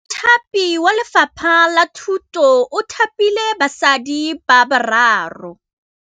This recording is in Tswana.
Mothapi wa Lefapha la Thutô o thapile basadi ba ba raro.